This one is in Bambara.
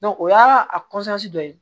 o y'a dɔ ye